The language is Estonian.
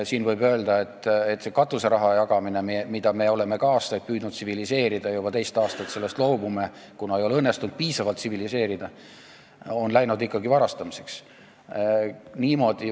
Siinkohal võib öelda, et see katuseraha jagamine, mida me oleme ka aastaid tsiviliseerida püüdnud – me juba teist aastat loobume sellest, kuna seda ei ole õnnestunud piisavalt tsiviliseerida –, on ikkagi varastamiseks läinud.